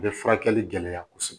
U bɛ furakɛli gɛlɛya kosɛbɛ